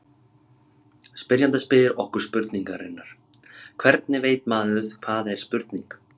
Spyrjandi spyr okkur spurningarinnar: Hvernig veit maður hvað er spurning?